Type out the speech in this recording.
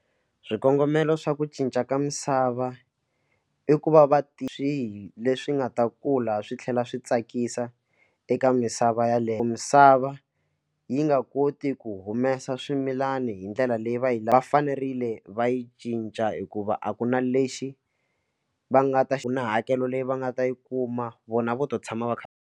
Swikongomelo swa ku cinca ka misava i ku va va ti swihi leswi nga ta kula swi tlhela swi tsakisa eka misava yaleyo misava yi nga koti ku humesa swimilana hi ndlela leyi va yi va fanerile va yi cinca hikuva a ku na lexi va nga ta na hakelo leyi va nga ta yi kuma vona vo to tshama va kha va.